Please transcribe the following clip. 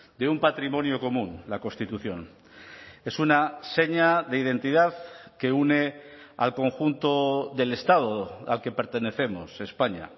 de un patrimonio común la constitución es una seña de identidad que une al conjunto del estado al que pertenecemos españa